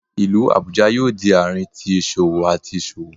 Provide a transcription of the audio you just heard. Ilu Abuja yoo di aarin ti iṣowo ati iṣowo